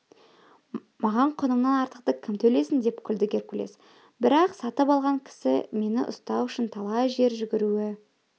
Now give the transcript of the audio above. маған құнымнан артықты кім төлесін деп күлді геркулес бірақ сатып алған кісі мені ұстау үшін талай жер жүгіруі